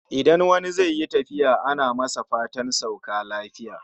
Idan wani zai yi tafiya ana masa fatan ya sauka lafiya